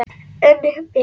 Unn mér!